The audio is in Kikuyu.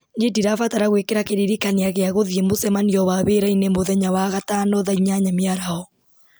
nĩ ndĩrabatara gwĩkĩra kĩririkania gĩa gũthiĩ mũcemanio wa wĩra-inĩ mũthenya wa gatano thaa inyanya mĩaraho